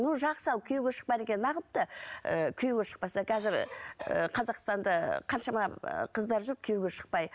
ну жақсы ал күйеуге шықпады екен неағыпты і күйеуге шықпаса қазір і қазақстанда і қаншама қыздар жүр күйеуге шықпай